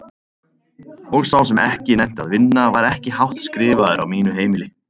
Og sá sem ekki nennti að vinna var ekki hátt skrifaður á mínu heimili.